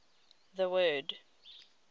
the word